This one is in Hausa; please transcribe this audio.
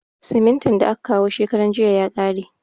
Simintin da aka kawo shekaran jiya ya kare.